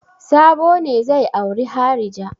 Sabo ne zai auri harija.